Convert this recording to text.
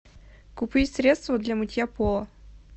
купить средство для мытья пола